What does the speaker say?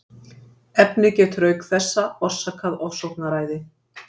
Efnið getur auk þessa orsakað ofsóknaræði.